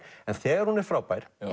en þegar hún er frábær